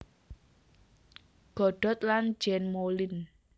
Godot lan Jean Moulind